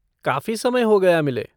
काफ़ी समय हो गया मिले।